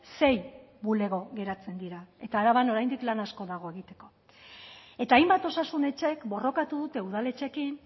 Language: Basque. sei bulego geratzen dira eta araban oraindik lan asko dago egiteko eta hainbat osasun etxek borrokatu dute udaletxeekin